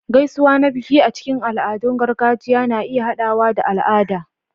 Gaisuwa na biki a cikin al'adun gargajiya na iya haɗawa da al'ada